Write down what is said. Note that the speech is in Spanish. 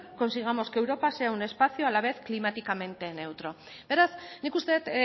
consigamos que europa sea un espacio a la vez climáticamente neutro beraz nik uste dut